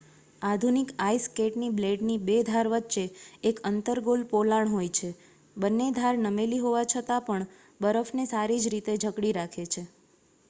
આધુનિક આઇસ સ્કેટના બ્લેડની બે ધાર વચ્ચે એક અન્તર્ગોલ પોલાણ હોય છે બંને ધાર નમેલી હોવા છતાંપણ બરફને સારી રીતે જકડી રાખે છે